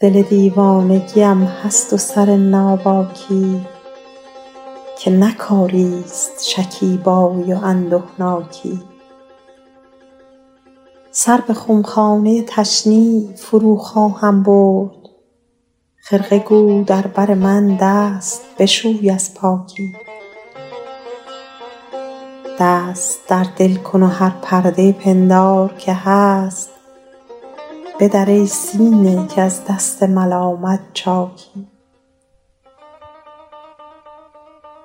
دل دیوانگی ام هست و سر ناباکی که نه کاری ست شکیبایی و اندهناکی سر به خمخانه تشنیع فرو خواهم برد خرقه گو در بر من دست بشوی از پاکی دست در دل کن و هر پرده پندار که هست بدر ای سینه که از دست ملامت چاکی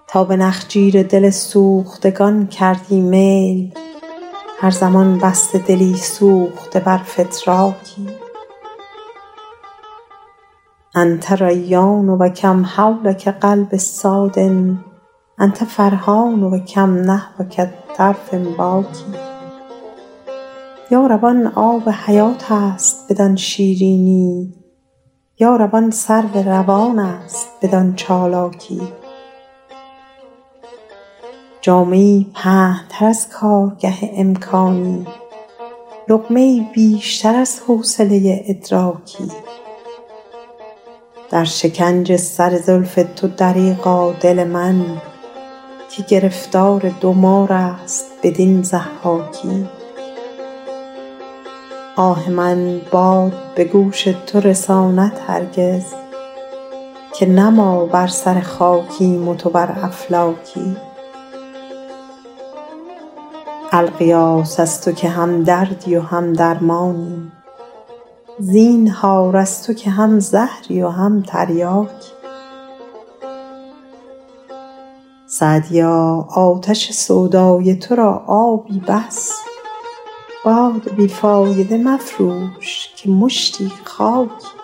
تا به نخجیر دل سوختگان کردی میل هر زمان بسته دلی سوخته بر فتراکی أنت ریان و کم حولک قلب صاد أنت فرحان و کم نحوک طرف باکی یا رب آن آب حیات است بدان شیرینی یا رب آن سرو روان است بدان چالاکی جامه ای پهن تر از کارگه امکانی لقمه ای بیشتر از حوصله ادراکی در شکنج سر زلف تو دریغا دل من که گرفتار دو مار است بدین ضحاکی آه من باد به گوش تو رساند هرگز که نه ما بر سر خاکیم و تو بر افلاکی الغیاث از تو که هم دردی و هم درمانی زینهار از تو که هم زهری و هم تریاکی سعدیا آتش سودای تو را آبی بس باد بی فایده مفروش که مشتی خاکی